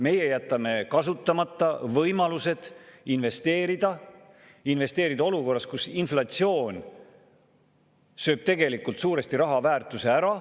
Meie jätame kasutamata võimalused investeerida, investeerida olukorras, kus inflatsioon sööb tegelikult suuresti raha väärtuse ära.